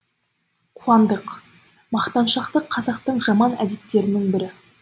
қуандық мақтаншақтық қазақтың жаман әдеттерінің бірі